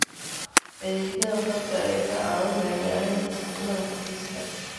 Adeegyada khadka ayaa kaa caawinaya yaraynta saxmadda xafiiska.